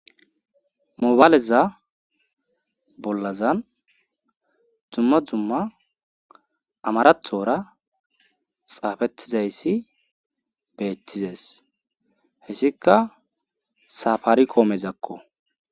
Moobaleza bolazan dzumma dzumma amarathora xaafethizayssi beethizes heysikka saafarikoomezakko.